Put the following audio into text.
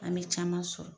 An bɛ caman sɔrɔ